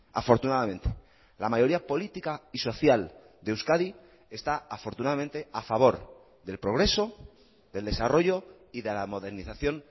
afortunadamente la mayoría política y social de euskadi está afortunadamente a favor del progreso del desarrollo y de la modernización